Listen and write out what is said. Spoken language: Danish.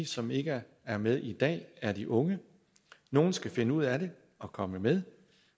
som ikke er med i dag er de unge nogle skal finde ud af det og komme med